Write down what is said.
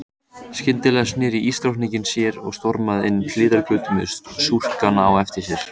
Skyndilega sneri ísdrottningin sér og stormaði inn hliðargötu með skúrkana á eftir sér.